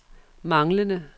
manglende